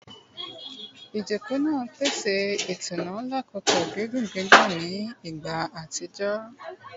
Ijoko naa pese itunu lakoko gigun gigun ni igba atijọ